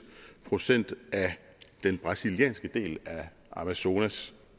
procent af den brasilianske del af amazonas